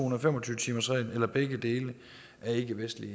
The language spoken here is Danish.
og fem og tyve timersreglen eller begge dele er ikkevestlig